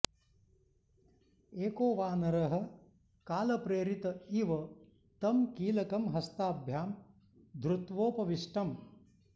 एको वानरः कालप्रेरित इव तं कीलकं हस्ताभ्यां धृत्वोपविष्टम्